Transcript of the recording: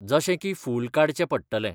जशें की फूल काडचें पडटलें.